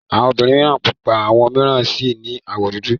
Awọn obìnrin mìíràn pupa àwọn mìíràn sì ní àwọ̀ dúdú.